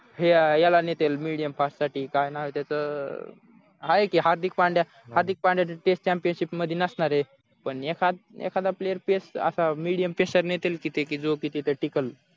याला नेतील medium fast साठी काय नाव आहे त्याचं अं आहे की हार्दिक पांड्या हार्दिक पांड्या test championship मध्ये नसणारे पण एखादा player असा medium नेतील की जो तिथे टिकेल